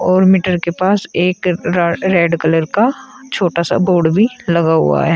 और मीटर के पास एक र रेड कलर का छोटा सा बोर्ड भी लगा हुआ है।